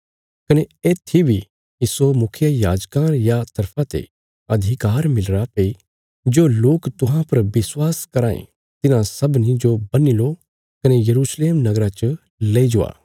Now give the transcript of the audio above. कने येत्थी बी इस्सो मुखियायाजकां रिया तरफा ते अधिकार मिलीरा भई जो लोक तुहां पर विश्वास कराँ यें तिन्हां सबनी जो बन्ही लो कने यरूशलेम नगरा च लेई जाओ